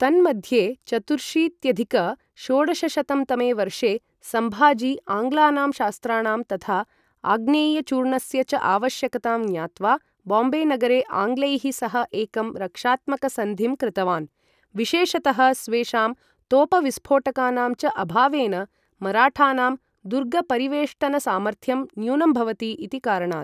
तन्मध्ये, चतुर्शीत्यधिक षोडशशतं तमे वर्षे, सम्भाजी आङ्ग्लानां शस्त्राणां तथा आग्नेयचूर्णस्य च आवश्यकतां ज्ञात्वा बाम्बेनगरे आङ्ग्लैः सह एकं रक्षात्मकसन्धिं कृतवान्, विशेषतः स्वेषां तोपविस्फोटकानां च अभावेन मराठानां दुर्गपरिवेष्टनसामर्थ्यम् न्यूनं भवति इति कारणात्।